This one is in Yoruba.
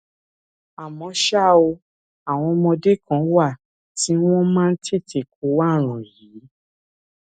àmọ ṣá o àwọn ọmọdé kan wà tí wọn máa ń tètè kó ààrùn yìí